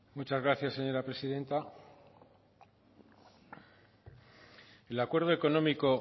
muchas gracias señora presidenta el acuerdo económico